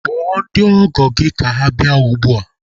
Kpọọ ndị ọgọ gị ka ha bịa ugbua!